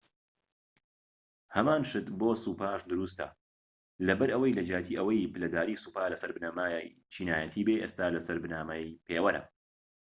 هەمان شت بۆ سوپاش دروستە لەبەرئەوەی لە جیاتی ئەوەی پلەداری سوپا لەسەر بنەمای چینایەتی بێت ئێستا لەسەر بنەمای پێوەرە